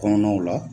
Kɔnɔnaw la